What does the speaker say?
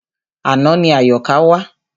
Àná ni Àyọ̀ká wá.